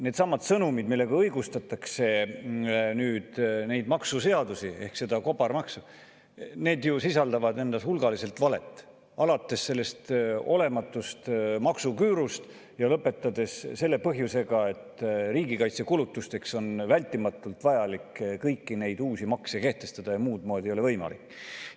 Needsamad sõnumid, millega õigustatakse neid maksuseadusi ehk seda kobarmaksu, sisaldavad endas hulgaliselt valet, alates sellest olematust maksuküürust ja lõpetades selle põhjusega, et riigikaitsekulutusteks on vajalik kõiki neid uusi makse vältimatult kehtestada ja muud moodi ei ole võimalik.